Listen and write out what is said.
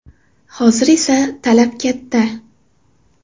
Hozir esa talab katta.